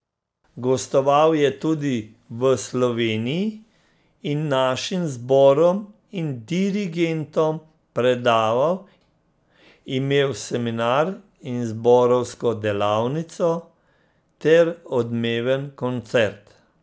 Gostoval je tudi v Sloveniji in našim zborom in dirigentom predaval, imel seminar in zborovsko delavnico ter odmeven koncert.